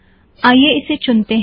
आईये इसे चुनते हैं